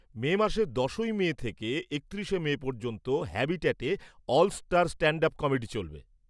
মে মাসের দশই মে থেকে একত্রিশে মে পর্যন্ত হ্যাবিট্যাটে 'all star stand up comedy' চলবে।